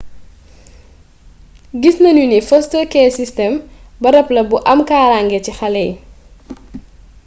gis nanu ni foster care system barab la bu am kaaraange ci xalé yii